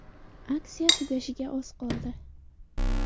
Aksiya tugashiga oz vaqt qoldi.